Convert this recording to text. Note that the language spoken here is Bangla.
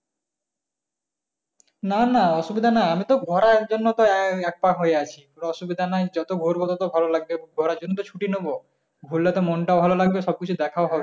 না না অসুবিধা না আমি তো ঘোরার জন্য আহ এক পা হয়ে আছি, কোন অসুবিধা নাই যত ঘুরবো ততো ভালো লাগবে ঘোরার জন্য তো ছুটি নেবো ঘুরলে তো মন টাও ভালো লাগবে সবকিছু দেখা ও হবে